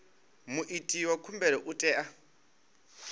muiti wa khumbelo u tea